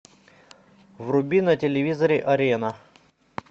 вруби на телевизоре арена